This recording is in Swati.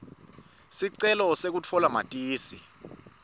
sicelo sekutfola matisi